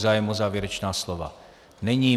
Zájem o závěrečná slova není.